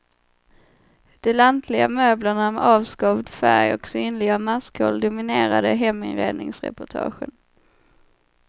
De lantliga möblerna med avskavd färg och synliga maskhål dominerade heminredningsreportagen.